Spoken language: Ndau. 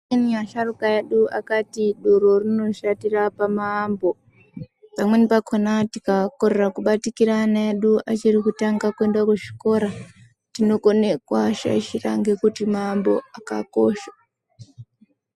Amweni asharuka edu akati doro rinoshatira pamaambo. Pamweni pakona tikakorera kubatikira ana edu tichiri kutanga kuende kuzvikora tinokone kuashaishira ngekuti maambo akakosha.